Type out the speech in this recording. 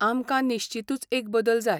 आमकां निश्चीतूच एक बदल जाय.